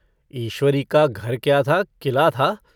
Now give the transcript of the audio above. ईश्वरी का घर क्या था किला था।